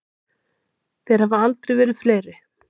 Þeir hafa aldrei verið fleiri.